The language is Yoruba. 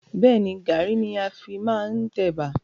Bẹ́ẹ̀ni, Garri ni a fi máa ń tẹ Ẹ̀bà.